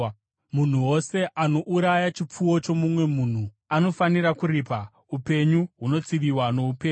Munhu wose anouraya chipfuwo chomumwe munhu anofanira kuripa, upenyu hunotsiviwa noupenyu.